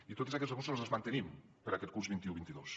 i tots aquests recursos els mantenim per a aquest curs vint un vint dos